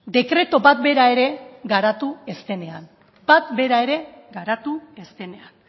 dekretu bat bera ere garatu ez denean bat bera ere garatu ez denean